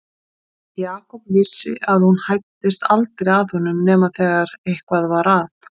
Jakob vissi að hún hæddist aldrei að honum nema þegar eitthvað var að.